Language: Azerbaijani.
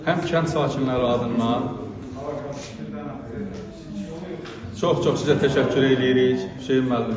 Həm kənd sakinləri adından, çox-çox sizə təşəkkür eləyirik, Hüseyn müəllim.